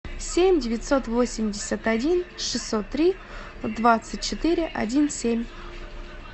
семь девятьсот восемьдесят один шестьсот три двадцать четыре один семь